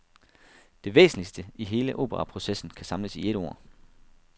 Det væsentligste i hele operaprocessen kan samles i et ord.